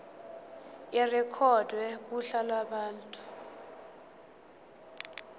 irekhodwe kuhla lwabantu